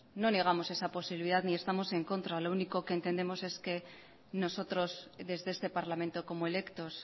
no negamos esa posibilidad ni estamos en contra lo único que entendemos es que nosotros desde este parlamento como electos